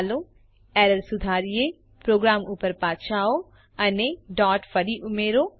ચાલો એરર સુધારીએ પ્રોગ્રામ ઉપર પાછા આવો અને ડોટ ફરી ઉમેરો